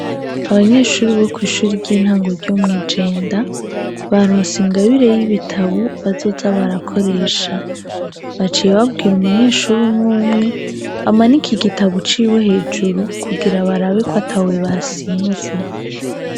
Abanyeshuri bo kw'ishuri ry'intango ryo mw' igenda, barose ingabire y'ibitabo bazoza barakoresha. Baciye babwira umunyeshuri umwe umwe amanike igitabo ciwe hejuru kugira barabe ko atawe basimvye.